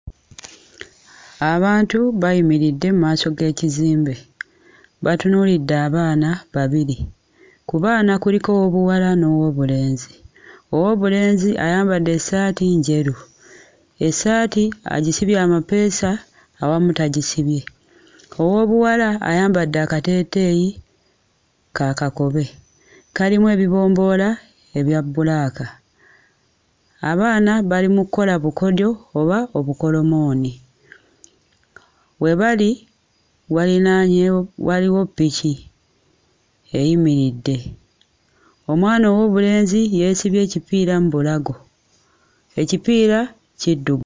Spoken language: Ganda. Abantu bayimiridde mu maaso g'ekizimbe, batunuulidde abaana babiri. Ku baana kuliko ow'obuwala n'ow'obulenzi. Ow'obulenzi ayambadde essaati njeru, essaati agisibye amapeesa, awamu tagisibye. Ow'obuwala ayambadde akateeteeyi ka kakobe, kalimu ebibomboola ebya bulaaka. Abaana bali mu kkola bukodyo oba obukolomooni. We bali walinaanyeewo waliwo ppiki eyimiridde. Omwana ow'obulenzi yeesibye ekipiira mu bulago. Ekipiira kiddu....